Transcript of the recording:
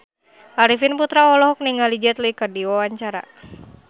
Arifin Putra olohok ningali Jet Li keur diwawancara